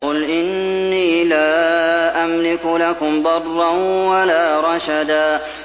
قُلْ إِنِّي لَا أَمْلِكُ لَكُمْ ضَرًّا وَلَا رَشَدًا